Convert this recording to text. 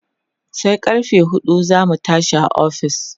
sai karfe huɗu zamu tashi a ofis